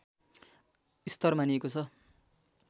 स्तर मानिएको छ